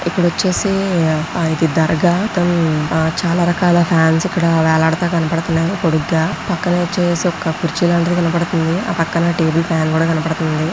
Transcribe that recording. ఇక్కడ వచ్చేసి ఆ ఇది దర్గా ఉమ్ ఆ చాలా రకాల ఫ్యాన్స్ ఇక్కడ వేలాడుతూ కనపడుతున్నాయి పొడుగ్గా పక్కన వచ్చేసి ఒక కుర్చీ లాంటిది కనపడుతుంది.ఆ పక్కన టేబుల్ ఫ్యాన్ కూడా కనబడుతుంది.